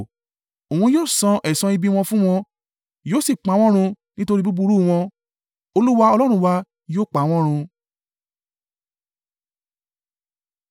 Òun yóò san ẹ̀san ibi wọn fún wọn yóò sì pa wọ́n run nítorí búburú wọn Olúwa Ọlọ́run wa yóò pa wọ́n run.